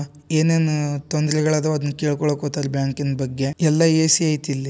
ಏನೇನ್ ತೊಂದರೇಗಳದಾವ್ ಅದನ್ನ್ ಕೇಳ್ಕಳಕ್ಕ್ ಹೋಗ್ತಾರ್ ಬ್ಯಾಂಕಿನ್ ಬಗ್ಗೇ ಎಲ್ಲಾ ಎ_ಸಿ ಐತಿ ಇಲ್ಲಿ.